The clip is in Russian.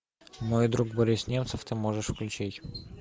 мой друг борис немцов ты можешь включить